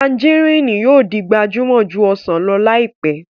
Tanjarínnì yóò di gbajúmọ̀ ju ọsàn lọ láìpẹ́